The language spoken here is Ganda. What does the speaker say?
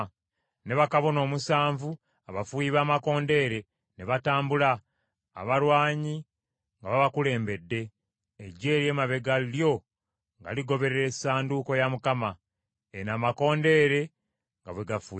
ne bakabona omusanvu abafuuyi b’amakondeere ne batambula, abalwanyi nga babakulembedde, eggye ery’emabega lyo nga ligoberera Essanduuko ya Mukama , eno amakondeere nga bwe gafuuyibwa.